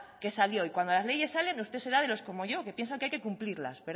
qué salió y cuando las leyes salen usted que será de los como yo que piensan que hay que cumplirlas